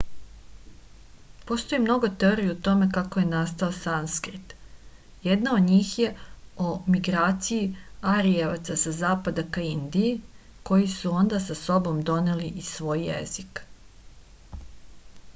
postoji mnogo teorija o tome kako je nasatao sanskrit jedna od njih je o migraciji arijevaca sa zapada ka indiji koji su onda sa sobom doneli i svoj jezik